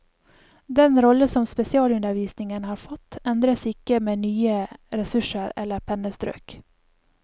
Den rolle som spesialundervisningen har fått, endres ikke med nye ressurser eller pennestrøk.